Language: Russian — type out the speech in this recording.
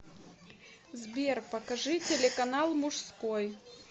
сбер покажи телеканал мужской